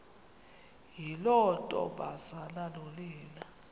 yiloo ntombazana nonina